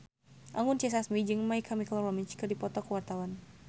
Anggun C. Sasmi jeung My Chemical Romance keur dipoto ku wartawan